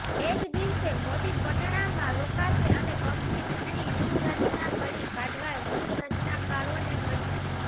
એ જ દિવસે મોદી પટણામાં રોકાશે અને પક્ષની ચૂંટણી વ્યુહરચના ઘડી કાઢવા વ્યુહરચનાકારોને મળશે